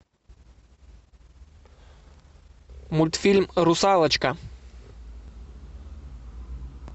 мультфильм русалочка